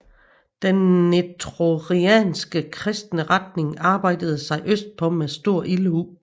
Den nestorianske kristne retning arbejdede sig østpå med stor ildhu